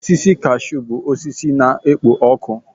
Osisi kashụ bụ osisi na-ekpo ọkụ.